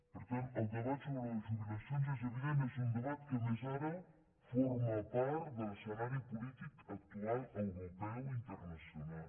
per tant el debat sobre les jubilacions és evident és un debat que a més ara forma part de l’escenari polític actual europeu internacional